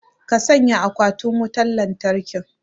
ka sanya akwatin wutar lantarki